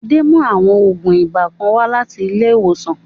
Adé mú àwọn ògùn ibà kan wá láti ilé ìwòsàn